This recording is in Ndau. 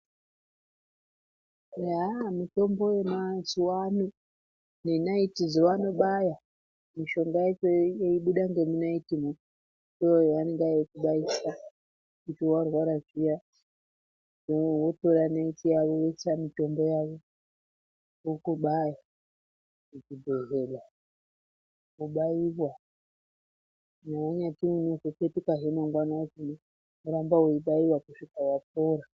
Eya , mitombo yemazuwa ano nenaiti dzo vanobaya mishonga dzese yeibuda ngemunaiti mwo iyo yavenge veikubaisa kuti warwara zviya wotora naiti yavo votsa mitombo yavo vokubaya muchibhehlera wobaiya kunyazwi ukazwi wozopetukahe mangwani woramba weibayiwa kusvika wapora.